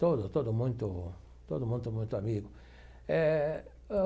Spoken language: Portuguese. Todo todo muito todo muito muito amigo eh.